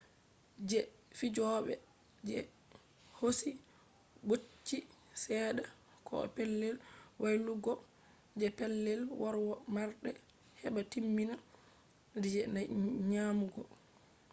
je fijobe je hosi bocchi sedda koh pellel waylutuggo je pellel womarde heba timmina je nyamugo